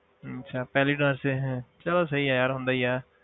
ਅੱਛਾ ਪਹਿਲੇ ਚਲੋ ਸਹੀ ਹੈ ਯਾਰ ਹੁੰਦਾ ਹੀ ਹੈ।